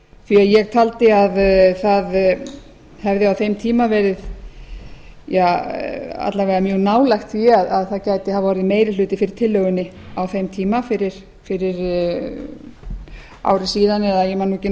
því ég taldi að það hefði á þeim tíma verið alla vega mjög nálægt því að það gæti hafa orðið meiri hluti fyrir tillögunni á þeim tíma fyrir ári síðan eða ég man ekki nákvæmlega hversu